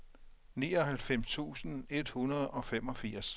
nioghalvfems tusind et hundrede og femogfirs